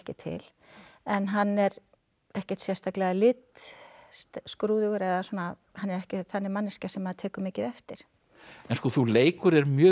til en hann er ekkert sérstaklega litskrúðugur eða svona hann er ekki þannig manneskja sem maður tekur mikið eftir en þú leikur þér mjög